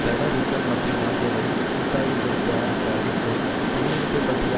பெடர் reserve மற்றும் ஆகியவை கூட்டாகக் கொடுத்த அந்த அறிக்கை பிணை எடுப்பு பற்றிய